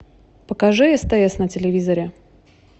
покажи стс на телевизоре